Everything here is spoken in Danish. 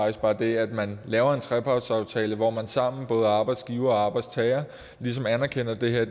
at bare det at man laver en trepartsaftale hvor man sammen både arbejdsgivere og arbejdstagere ligesom anerkender at det her